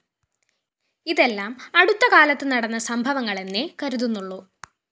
ഇതെല്ലാം അടുത്ത കാലത്തു നടന്ന സംഭവങ്ങളെന്നേ കരുതുന്നുള്ളൂ